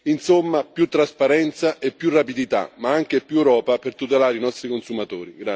Insomma, più trasparenza e più rapidità, ma anche più Europa per tutelare i nostri consumatori.